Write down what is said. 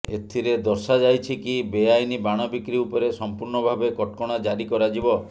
ଏଥିରେ ଦର୍ଶାଯାଇଛି କି ବେଆଇନ ବାଣ ବିକ୍ରି ଉପରେ ସମ୍ପୂର୍ଣ୍ଣ ଭାବେ କଟକଣା ଜାରି କରାଯିବ